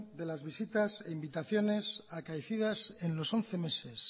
de las visitas e invitaciones acaecidas en los once meses